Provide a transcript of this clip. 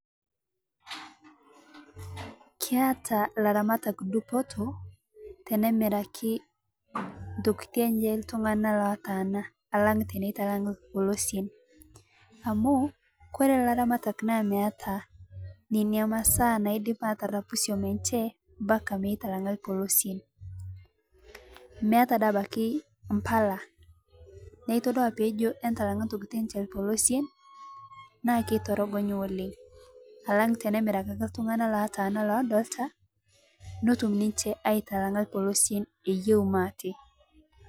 Keata laramatak dupotoo tenemirakii ntokitii enshe ltung'ana lataana alang' teneitalang' lpolosien amu kore laramatak naa meata nenia masaa naidip atarapuu siom enshe mpaka meitalang'a lpolosien meata dei abakii mpalaa naa itodua peejo intalang'a ntokiti enshe lpolosien naa keitorogonyii oleng' alang' tenemirakii ake ltung'ana lotaana lodolitaa notum ninshe aitalang'a lpolosien eyeu maate.